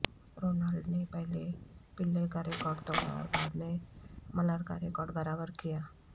Ronald نے پہلے Pele کا ریکارڈ توڑا اور بعد میں ملر کا ریکارڈ برابر کیا